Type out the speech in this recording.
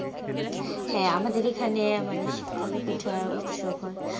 হ্যাঁ আমাদের এখানে মানে শীতকালে উৎসব হয়.